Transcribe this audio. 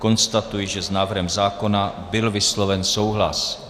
Konstatuji, že s návrhem zákona byl vysloven souhlas.